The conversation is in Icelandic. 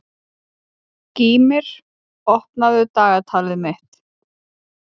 Gýmir, opnaðu dagatalið mitt.